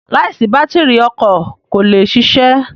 Láìsí bátírì, ọkọ kò lè ṣiṣẹ́.